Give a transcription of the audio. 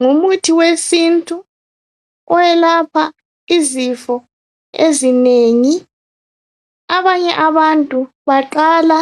Ngumuthi wesintu owelapha izifo ezinengi. Abanye abantu baqala